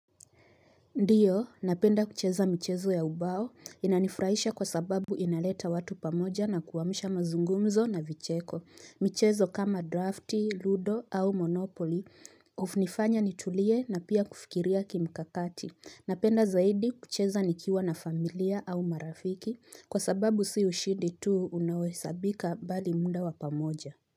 Ndiyo, napenda kucheza michezo ya ubao, inanifuraisha kwa sababu inaleta watu pamoja na kuamusha mazungumzo na vicheko. Michezo kama drafti, ludo au monopoli, unifanya nitulie na pia kufikiria kimkakati. Napenda zaidi kucheza nikiwa na familia au marafiki, kwa sababu si ushindi tu unaohesabika bali muda wa pamoja.